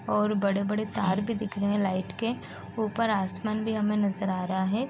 और बड़े -बड़े तार भी दिख रहे है लाइट के ऊपर आसमान भी हमें नज़र आ रहा हैं।